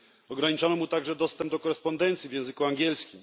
Ograniczono mu także dostęp do korespondencji w języku angielskim.